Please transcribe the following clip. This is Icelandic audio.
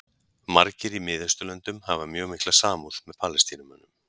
Margir í Mið-Austurlöndum hafa mjög mikla samúð með Palestínumönnum.